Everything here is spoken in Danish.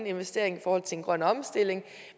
investering i forhold til en grøn omstilling